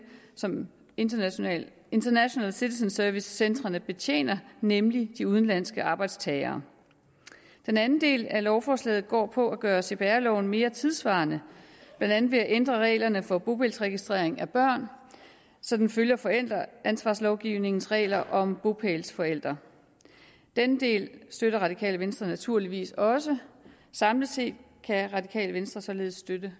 som international international citizen service centrene betjener nemlig de udenlandske arbejdstagere den anden del af lovforslaget går ud på at gøre cpr loven mere tidssvarende blandt andet ved at ændre reglerne for bopælsregistrering af børn så den følger forældreansvarslovgivningens regler om bopælsforældre denne del støtter radikale venstre naturligvis også samlet set kan radikale venstre således støtte